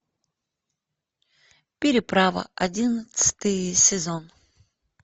переправа одиннадцатый сезон